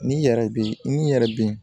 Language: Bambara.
N'i yɛrɛ be n'i yɛrɛ be yen